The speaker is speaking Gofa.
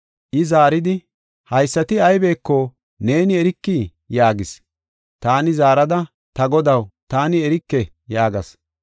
I zaaridi, “Haysati aybeko neeni erikii?” yaagis. Taani zaarada, “Ta godaw, taani erike” yaagas.